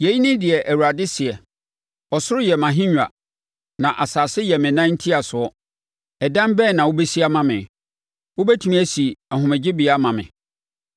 Yei ne deɛ Awurade seɛ: “Ɔsoro yɛ mʼahennwa, na asase yɛ me nan ntiasoɔ. Ɛdan bɛn na wobɛsi ama me? Wobɛtumi asi ahomegyebea ama me?